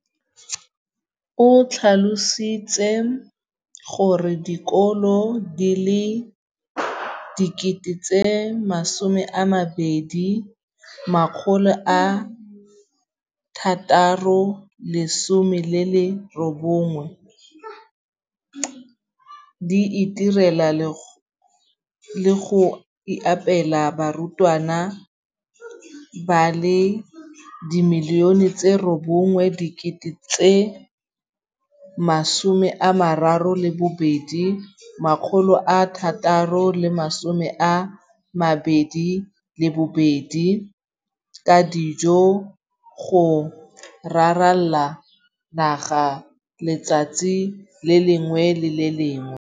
o tlhalositse gore dikolo di le 20 619 di itirela le go iphepela barutwana ba le 9 032 622 ka dijo go ralala naga letsatsi le lengwe le le lengwe.